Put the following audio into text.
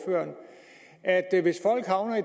af